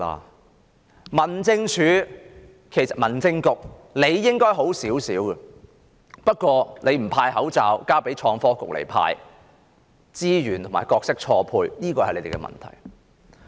至於民政事務局，理應好一點，不過它不負責派發口罩，交由創新及科技局負責，資源和角色錯配，這是他們的問題。